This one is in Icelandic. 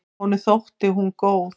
Honum þótti hún góð.